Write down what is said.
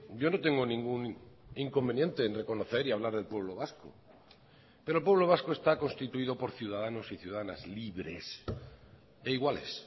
yo no tengo ningún inconveniente en reconocer y hablar del pueblo vasco pero el pueblo vasco está constituido por ciudadanos y ciudadanas libres e iguales